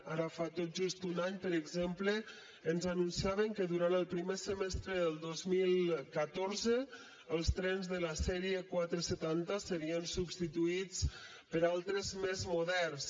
ara fa tot just un any per exemple ens anunciaven que durant el primer semestre del dos mil catorze els trens de la sèrie quatre cents i setanta serien substituïts per altres de més moderns